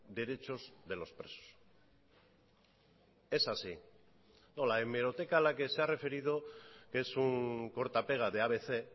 derechos de los presos es así no la hemeroteca a la que se ha referido es un corta pega de abc